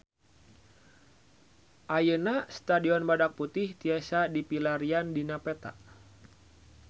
Ayeuna Stadion Badak Putih tiasa dipilarian dina peta